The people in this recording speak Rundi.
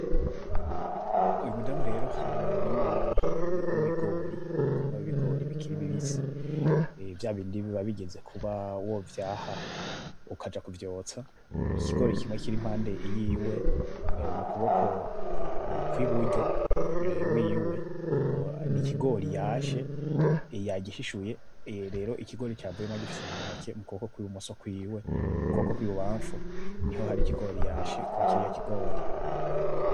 Uyu mudame rero ari mumurima w'ibigori, umurima w'ibigori bikiri bibisi, vyabindi biba bigeze kuba wovyaha, ukaja kuvyotsa, ikigori kimwe kiri impande yiwe mukuboko kwiburyo wiwe n'ikigori yashe, yagishishuye, rero ikigori cavuyemwo agifise muntoki mukuboko kubumoso kwiwe, ukuboko kwibubamfu niho hari ikigori yashe kwa kiriya kigori.